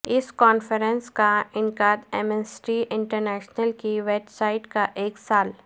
اس conference کا انعقاد Amnesty International کی ویب سائٹ کا ایک سال